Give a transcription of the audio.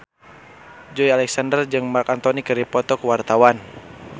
Joey Alexander jeung Marc Anthony keur dipoto ku wartawan